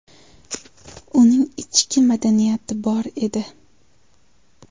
Uning ichki madaniyati bor edi.